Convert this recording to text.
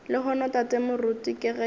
lehono tate moruti ke ge